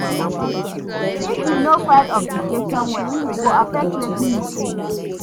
If yu no file obligations well, e go affect wetin yu gain